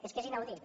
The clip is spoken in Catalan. és que és inaudit